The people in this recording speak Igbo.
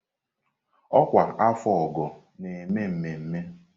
Ọkwa afọ ọ́gọ̀ na-eme mmemme.